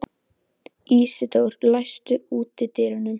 Ísidór, læstu útidyrunum.